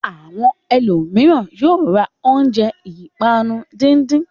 Àwọn ẹlòmíràn yóò ra oúnjẹ ìpanu díndín.